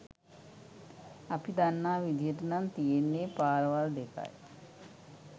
අපි දන්නා විදිහටනම් තියෙන්නේ පාරවල් දෙකයි